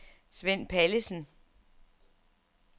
Svend Pallesen